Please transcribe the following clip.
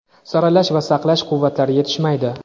saralash va saqlash quvvatlari yetishmaydi.